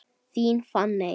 Þín Fanney.